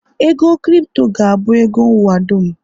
ego Kripto ga-abụ ego ụwa dum